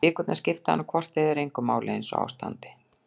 Vikurnar skipti hana hvort eð er engu máli einsog á standi.